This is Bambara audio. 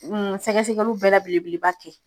sɛgɛsɛgɛliw bɛɛ la belebele ba kɛ.